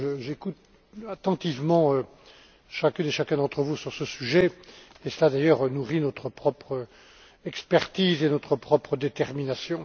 J'écoute attentivement chacune et chacun d'entre vous sur ce sujet et cela nourrit d'ailleurs notre propre expertise et notre propre détermination.